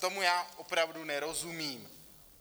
Tomu já opravdu nerozumím.